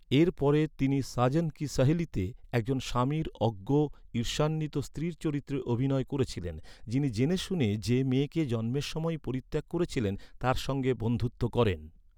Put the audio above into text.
এর পরে, তিনি ‘সাজন কি সাহেলিতে’ এক জন স্বামীর অজ্ঞ, ঈর্ষান্বিত স্ত্রীর চরিত্রে অভিনয় করেছিলেন, যিনি জেনেশুনে যে মেয়েকে জন্মের সময়েই পরিত্যাগ করেছিলেন, তার সঙ্গে বন্ধুত্ব করেন।